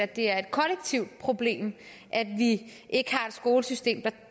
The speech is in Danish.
det er et kollektivt problem at vi ikke har et skolesystem